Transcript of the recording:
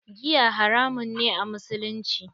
Giya haramun ne a musulunci.